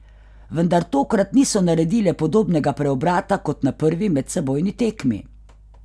Vendar tokrat niso naredile podobnega preobrata kot na prvi medsebojni tekmi.